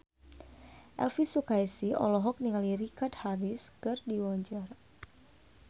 Elvy Sukaesih olohok ningali Richard Harris keur diwawancara